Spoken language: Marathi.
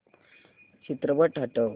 चित्रपट हटव